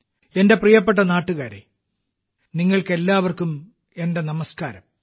എന്റെ പ്രിയപ്പെട്ട നാട്ടുകാരേ നിങ്ങൾക്കെല്ലാവർക്കും എന്റെ നമസ്കാരം